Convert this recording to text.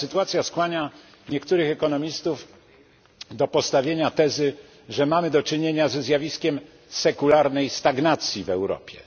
Ta sytuacja skłania niektórych ekonomistów do postawienia tezy, że mamy do czynienia ze zjawiskiem sekularnej stagnacji w Europie.